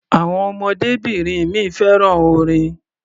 Àwọn ọmọdébìnrin mi fẹ́ràn orin.